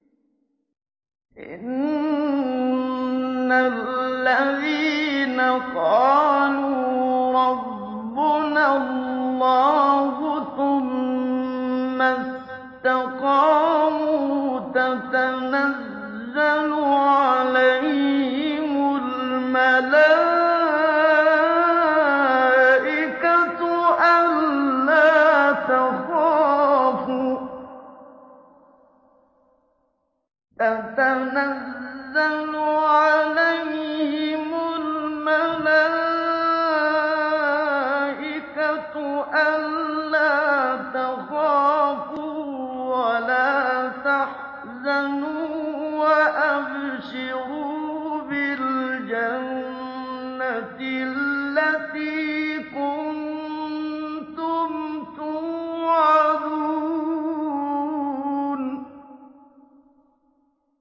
إِنَّ الَّذِينَ قَالُوا رَبُّنَا اللَّهُ ثُمَّ اسْتَقَامُوا تَتَنَزَّلُ عَلَيْهِمُ الْمَلَائِكَةُ أَلَّا تَخَافُوا وَلَا تَحْزَنُوا وَأَبْشِرُوا بِالْجَنَّةِ الَّتِي كُنتُمْ تُوعَدُونَ